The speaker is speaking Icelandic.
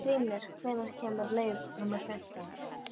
Hrímnir, hvenær kemur leið númer fimmtán?